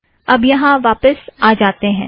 अब यहाँ वापस आ जाते हैं